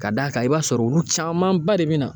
Ka d'a kan i b'a sɔrɔ olu caman ba de bina